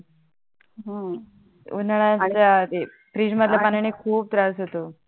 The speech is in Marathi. उन्हाडयात राहते फ्रीजमधल्या पाण्याने खूप त्रास होतो